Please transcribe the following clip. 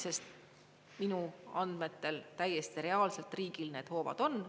Sest minu andmetel täiesti reaalselt riigil need hoovad on.